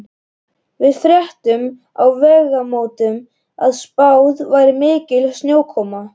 Við fréttum á Vegamótum að spáð væri mikilli snjókomu.